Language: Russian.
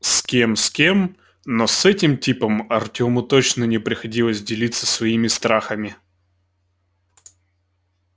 с кем с кем но с этим типом артёму точно не приходилось делиться своими страхами